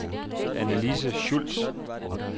Annalise Schultz